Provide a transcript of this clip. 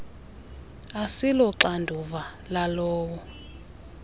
asilo xanduva lalowo